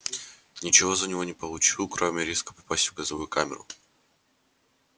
ничего за него не получил кроме риска попасть в газовую камеру